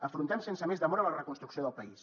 afrontem sense més demora la reconstrucció del país